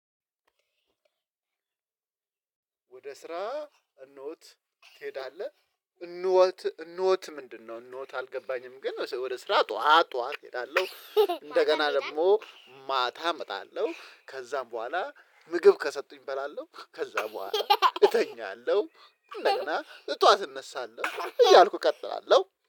ወደ ስራ እንወት እኔዳለን እንወት ምንድነው? እንወት አልገባኝም። ግን ወደ ስራ ጠዋት ጠዋት እሄዳለሁ እንደገና ደግሞ ማታ እመጣለሁ ከዛም በኋላ ምግብ ከሰጡኝ እበላለሁ ከዛ በኋላ እተኛለሁ። እንደገና ጧት እነሳለሁ እያልኩ እቀጥላለሁ